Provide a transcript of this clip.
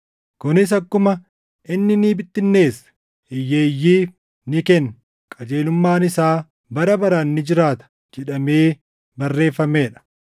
Kunis akkuma, “Inni ni bittinneesse; hiyyeeyyiif ni kenne; qajeelummaan isaa bara baraan ni jiraata” + 9:9 \+xt Far 112:9\+xt* jedhamee barreeffamee dha.